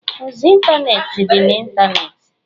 Ozi ịntanetị dị na ịntanetị.